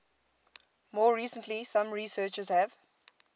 more recently some researchers have